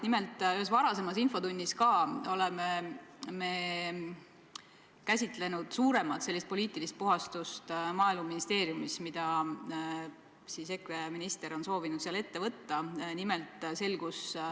Nimelt, ühes varasemas infotunnis me oleme ka käsitlenud suuremat poliitilist puhastust Maaeluministeeriumis, mille EKRE minister on soovinud seal ette võtta.